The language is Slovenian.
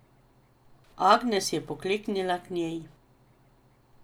Agnes je pokleknila k njej.